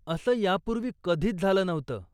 असं यापूर्वी कधीचं झालं नव्हतं.